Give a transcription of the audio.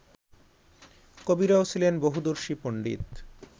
কবিরাও ছিলেন বহুদর্শী পন্ডিত